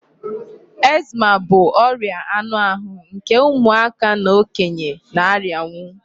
Eczema bụ ọria anụ ahụ nke ụmụaka na okenye na-arianwu.